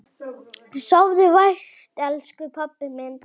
Sofðu vært, elsku pabbi minn.